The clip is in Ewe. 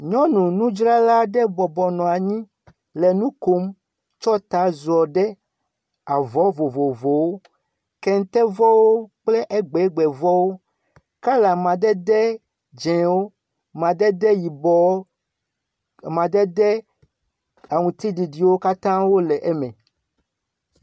Nyɔnu nudzrala ɖe bɔbɔ nɔ anyi nɔ nu kom tsɔ ta ziɔ ɖe avɔ vovovowo; kentevɔwo kple egbegbevɔwo kala amadede dzẽwo, amadede yibɔwo, amadede aŋutiɖiɖiwo katã wole eme.